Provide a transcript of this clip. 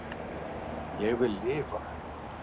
Ég vil lifa